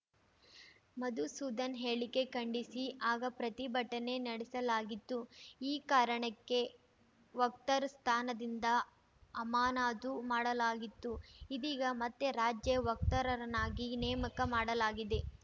ಮಧುಸೂಧನ್‌ ಹೇಳಿಕೆ ಖಂಡಿಸಿ ಆಗ ಪ್ರತಿಭಟನೆ ನಡೆಸಲಾಗಿತ್ತು ಈ ಕಾರಣಕ್ಕೆ ವಕ್ತಾರ ಸ್ಥಾನದಿಂದ ಅಮಾನಾತು ಮಾಡಲಾಗಿತ್ತು ಇದೀಗ ಮತ್ತೆ ರಾಜ್ಯ ವಕ್ತಾರರನ್ನಾಗಿ ನೇಮಕ ಮಾಡಲಾಗಿದೆ